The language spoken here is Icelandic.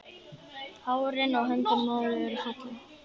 Hárin á höndunum á þér eru falleg.